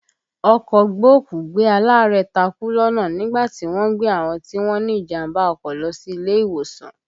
Ọkọ̀ gbókùú-gbé-alaarẹ̀ takú lọ́nà nígbà tí wọ́n ń gbé àwọn tí wọ́n ní ìjàmbá ọkọ̀ lọ sí ilé ìwòsàn